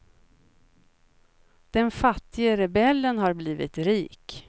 Den fattige rebellen har blivit rik.